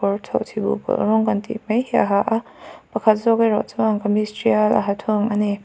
kawr chhawh chhi buh pawlh rawng kan tih mai hi a ha a pakhat zawk erawh chuan kamis tial a ha thung ani.